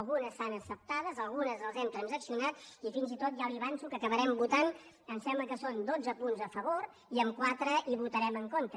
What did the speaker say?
algunes s’han acceptat algunes les hem transaccionat i fins i tot ja li avanço que acabarem votant em sembla que són dotze punts a favor i en quatre hi votarem en contra